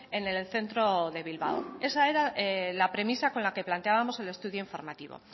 en el centro de bilbao esa era la premisa con la que planteábamos el estudio informativo